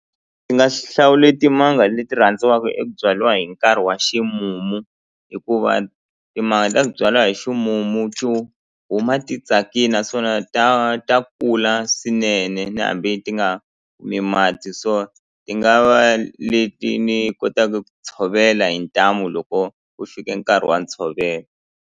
Ndzi nga hlawule timanga leti rhandziwaka eku byaliwa hi nkarhi wa ximumu hikuva timanga ta ku byaliwa hi ximumu huma ti tsakini naswona ta ta kula swinene na hambi ti nga mati so ti nga va leti ni kotaka ku tshovela hi ntamu loko ku fike nkarhi wa ntshovelo.